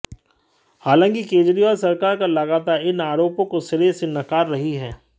हालांकि केजरीवाल सरकार का लगातार इन आरोपों को सिरे से नकार रही है